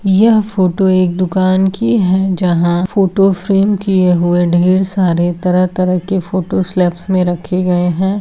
यह फोटो एक दुकान की है जहाँ फोटो फ्रेम किए हुए ढेर सारे तरह तरह के फोटो स्लेबस में रखे गए है।